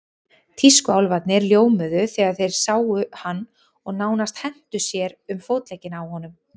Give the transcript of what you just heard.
Tískuálfarnir ljómuðu þegar þeir sáum hann og nánast hentu sér um fótleggina á honum.